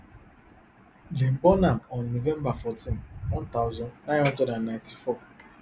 dem born am on november fourteen one thousand, nine hundred and ninety-four